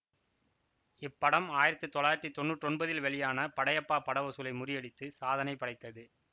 இப்படம் ஆயிரத்தி தொள்ளாயிரத்தி தொன்னூற்று ஒன்பதில் வெளியான படையப்பா பட வசூலை முறியடித்து சாதனை படைத்தது